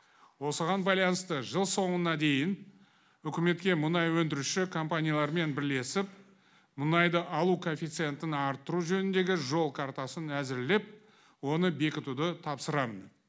осыған байланысты жыл соңына дейін үкіметке мұнай өндіруші компаниялармен бірлесіп мұнайды алу коэффицентін артыру жөніндегі жол картасын әзірлеп оны бекітуді тапсырамын